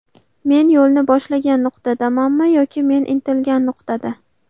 Men yo‘lni boshlagan nuqtadamanmi yoki men intilgan nuqtada?